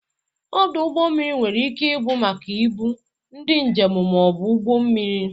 Ọdụ ụgbọ mmiri nwere ike ị bụ maka ibu, ndị njem ma ọ bụ ụgbọ mmiri.